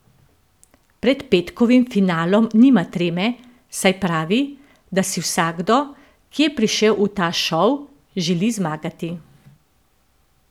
Pred petkovim finalom nima treme, saj pravi, da si vsakdo, ki je prišel v ta šov, želi zmagati.